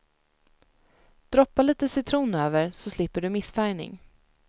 Droppa lite citron över så slipper du missfärgning.